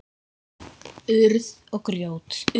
Urð og grjót.